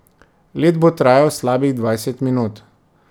Let bo trajal slabih dvajset minut.